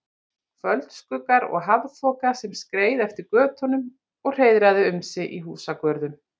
Kvöldskuggar og hafþoka, sem skreið eftir götunum og hreiðraði um sig í húsagörðum.